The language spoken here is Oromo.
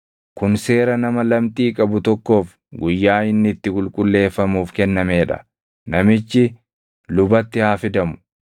“Kun seera nama lamxii qabu tokkoof guyyaa inni itti qulqulleeffamuuf kennamee dha; namichi lubatti haa fidamu.